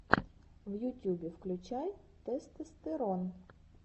в ютюбе включай тестостерон